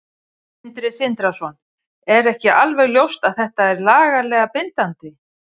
Sindri Sindrason: Er ekki alveg ljóst að þetta er lagalega bindandi?